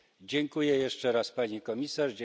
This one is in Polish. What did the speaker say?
Dziękuję jeszcze raz pani komisarz.